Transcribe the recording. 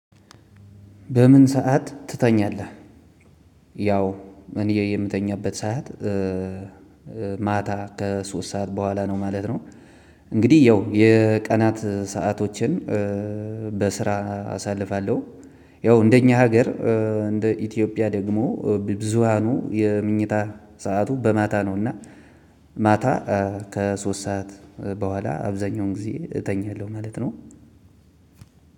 በምን ሰዓት ትተኛለህ? ያው እኔ የምተኛበት ሰዓት ማታ ከሶስት ሰዓት በኋላ ነው ማለት ነው። እንግዲህ ያው የቀናት ሰአቶችን በስራ አሳልፋለሁ። ያው እንደኛ ሀገር እንደ ኢትዮጵያ ደግሞ ብ ብዙሃኑ የመኝታ ሰዓቱ በማታ ነው። እና ማታ ከሶስት ሰዓት በኋላ አብዛኛውን ጊዜ እተኛለሁ ማለት ነው።